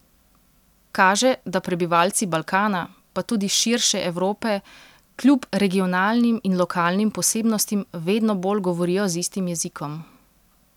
Kaže, da prebivalci Balkana, pa tudi širše Evrope kljub regionalnim in lokalnim posebnostim vedno bolj govorijo z istim jezikom.